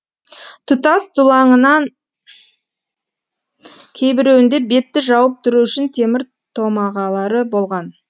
тұтас дулаңынан кейбіреуінде бетті жауып тұру үшін темір томағалары болған